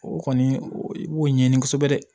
O kɔni i b'o ɲɛɲini kosɛbɛ dɛ